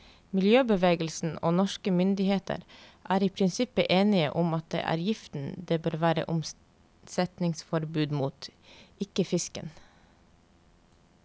Miljøbevegelsen og norske myndigheter er i prinsippet enige om at det er giften det bør være omsetningsforbud mot, ikke fisken.